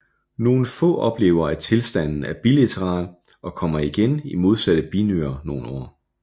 Nogle få oplever at tilstanden er bilateral og kommer igen i modsatte binyre efter nogle år